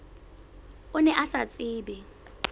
o ne o sa tsebe